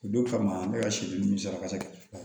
O don kama ne ka sirikasa kɛ